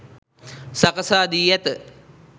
සකසා දී ඇත.